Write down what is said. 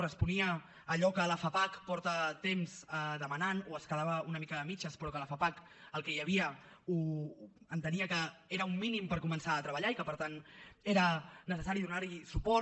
responia a allò que la fapac fa temps que demana o es quedava una mica a mitges però que la fapac el que hi havia entenia que era un mínim per començar a treballar i que per tant era necessari donar hi suport